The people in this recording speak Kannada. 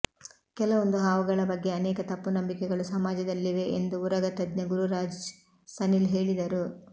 ಕೆಲವೊಂದು ಹಾವುಗಳ ಬಗ್ಗೆ ಅನೇಕ ತಪ್ಪು ನಂಬಿಕೆಗಳು ಸಮಾಜದಲ್ಲಿವೆ ಎಂದು ಉರಗ ತಜ್ಞ ಗುರುರಾಜ್ ಸನಿಲ್ ಹೇಳಿದರು